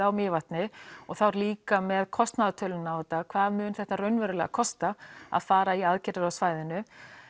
á Mývatni og þá líka með kostnaðartölu á þetta hvað mun þetta raunverulega kosta að fara í aðgerðir á svæðinu